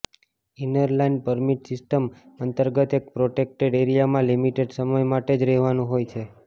inner line permit system અંતર્ગત એક protected એરિયામાં લિમિટેડ સમય માટે જ રહેવાનું હોય છે